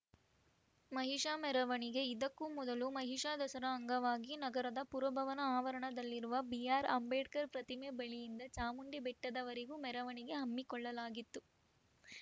ಮಹಿಷ ಮೆರವಣಿಗೆ ಇದಕ್ಕೂ ಮೊದಲು ಮಹಿಷಾ ದಸರಾ ಅಂಗವಾಗಿ ನಗರದ ಪುರಭವನ ಆವರಣದಲ್ಲಿರುವ ಬಿಆರ್‌ ಅಂಬೇಡ್ಕರ್‌ ಪ್ರತಿಮೆ ಬಳಿಯಿಂದ ಚಾಮುಂಡಿ ಬೆಟ್ಟದವರೆಗೂ ಮೆರವಣಿಗೆ ಹಮ್ಮಿಕೊಳ್ಳಲಾಗಿತ್ತು